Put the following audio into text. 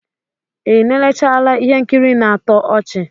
Ị gwụla ikiri ihe nkiri na-atọ ọchị?